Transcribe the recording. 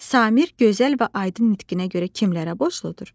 Samir gözəl və aydın nitqinə görə kimlərə borcludur?